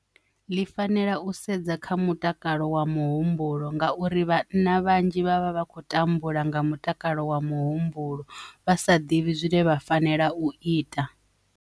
Ḽi fanela u sedza kha mutakalo wa muhumbulo ngauri vhana vhanzhi vhavha vha khou tambula nga mutakalo wa muhumbulo vha sa ḓivhi zwine vha fanela u ita.